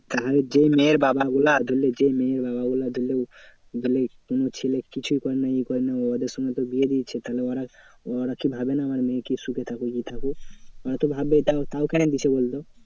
তাহলে যেই মেয়ের বাবাগুলো ধরলে যেই মেয়ের বাবাগুলো ধরলে ধরলে কোনো ছেলে কিছুই করে না এই করে না ওদের সঙ্গে তো বিয়ে দিয়ে দিচ্ছে। তাহলে ওরা ওরা কি ভাবে না? আমার মেয়ে কি সুখে থাকবে ই থাকুক? ওরা তো ভাববে তাও তাও কেন দিচ্ছে বলতো?